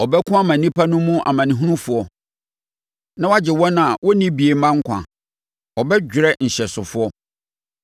Ɔbɛko ama nnipa no mu amanehunufoɔ na woagye wɔn a wɔnni bie mma nkwa; ɔbɛdwerɛ nhyɛsofoɔ.